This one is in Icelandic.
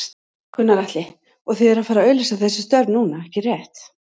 Gunnar Atli: Og þið eruð að fara auglýsa þessi störf núna, ekki rétt?